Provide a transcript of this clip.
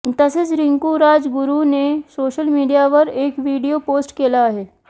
तसेच रिंकू राजगुरूने सोशल मीडियावर एक व्हिडिओ पोस्ट केला आहे